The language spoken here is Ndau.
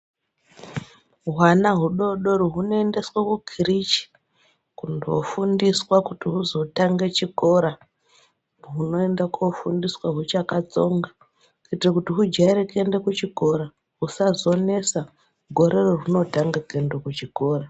Hwana hudodori hunoendeswe kukireshe kofundiswa kuti husotanga chikora hunoenda kofundiswa huchakatsonga kuitire kuti hujaire kuenda kuchikora husazonesa gore rahunotange kuenda kuchikora.